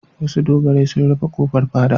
Wasu dogarai sun rufe ƙofar fada.